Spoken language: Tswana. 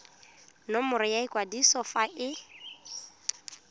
nomoro ya kwadiso fa e